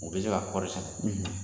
U bɛ se ka kɔri sɛnɛ.